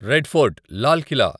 red fort Lal Qila